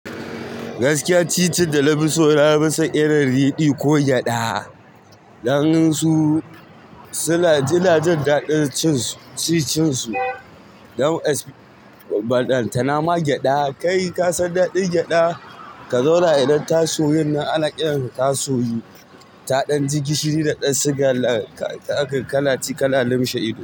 Gaskiya, ci cin da na fi son irin riɗi ko gyaɗa. Dan su, su na jin daɗin cin su, ci cin su. Don as, balanta nama gyaɗa kai kasan daɗin gyaɗa, ka zo na irin tasoyen na alaƙalar tasoyi, taɗan jiki shiri da ɗan sigar ka akai kana ci kana lumshe ido.